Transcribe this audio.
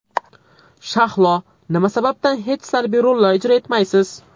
Shahlo, nima sababdan hech salbiy rollar ijro etmaysiz?